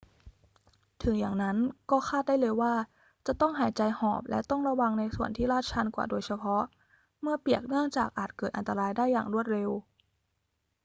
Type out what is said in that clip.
ถึงอย่างนั้นก็คาดได้เลยว่าจะต้องหายใจหอบ และต้องระวังในส่วนที่ลาดชันกว่าโดยเฉพาะเมื่อเปียก เนื่องจากอาจเกิดอันตรายได้อย่างรวดเร็ว